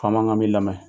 Faama ka min lamɛn